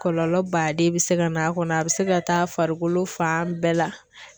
Kɔlɔlɔ baden bɛ se ka na a kɔnɔ a bɛ se ka taa farikolo fan bɛɛ la.